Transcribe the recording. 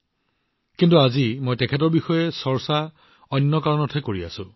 কিন্তু আজি মই তেওঁক আন এটা কাৰণত আলোচনাৰ মাজলৈ টানি আনিছো